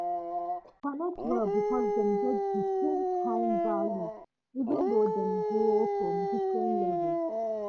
dem connect well because dem get the same kind values even though dem grow for different levels